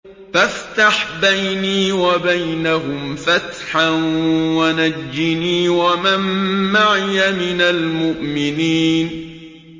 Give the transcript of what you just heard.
فَافْتَحْ بَيْنِي وَبَيْنَهُمْ فَتْحًا وَنَجِّنِي وَمَن مَّعِيَ مِنَ الْمُؤْمِنِينَ